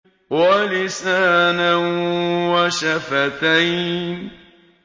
وَلِسَانًا وَشَفَتَيْنِ